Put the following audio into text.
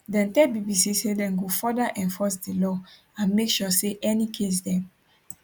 dem tell bbc say dem go further enforce di law and make sure say any case dem